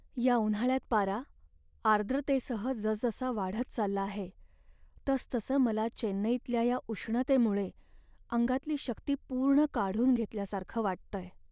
या उन्हाळ्यात पारा आर्द्रतेसह जसजसा वाढत चालला आहे तसतसं मला चेन्नईतल्या या उष्णतेमुळे अंगातली शक्ती पूर्ण काढून घेतल्यासारखं वाटतंय.